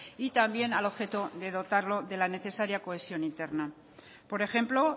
y también al objeto de dotarlo de la necesaria cohesión interna por ejemplo